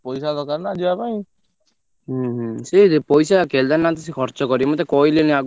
ଉଁ ହୁଁ ସେ ପଇସା କେଦାରନାଥ ସେ ଖର୍ଚ କରିବେ ମତେ କହିଲେଣି ନା ଆଗରୁ ନା ମାସେ ଦି ମାସେ ଆଗରୁ କହିଲେଣି ଛୁଆ ସବୁ।